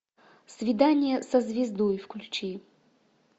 свидание со звездой включи